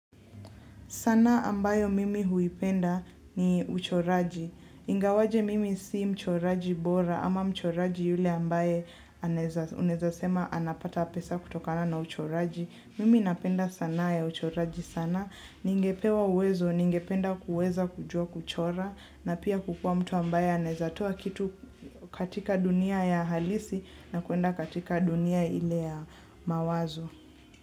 Sanaa ambayo mimi huipenda ni uchoraji. Ingawaje mimi si mchoraji bora ama mchoraji yule ambaye unaeza sema anapata pesa kutokana na uchoraji. Mimi napenda sanaa ya uchoraji sana. Ningepewa uwezo, ningependa kuweza kujua kuchora na pia kukua mtu ambaye anezatoa kitu katika dunia ya halisi na kuenda katika dunia ile ya mawazo.